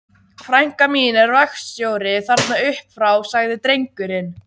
Frænka mín er vaktstjóri þarna upp frá, sagði drengurinn.